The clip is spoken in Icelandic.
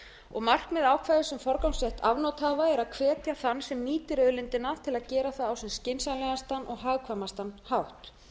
og markmið ákvæðis um forgangsrétt afnotahafa er að hvetja þann sem nýtir auðlindina til að gera það á sem skynsamlegastan og hagkvæmastan hátt